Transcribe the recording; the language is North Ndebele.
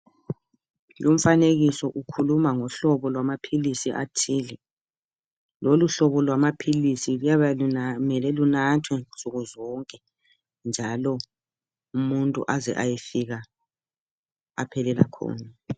Lumfanekiso ukhuluma ngohlobo lwamaphilisi athile. Loluhlobo lwama philisi luyabe lumele lunathwe nsukuzonke njalo umuntu aze ayefika aphelela khona.